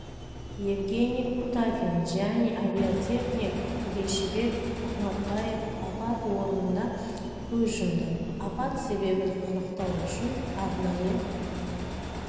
евгений кутафин және авиатехник бейшибек ахматбаев апат орнында көз жұмды апат себебін анықтау үшін арнайы